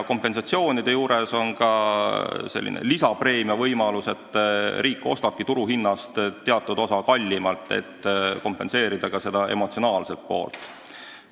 Kompensatsiooni puhul on ka selline lisapreemia võimalus, et riik ostab maa turuhinnast teatud määral kallimalt, et kompenseerida ka emotsionaalset kahju.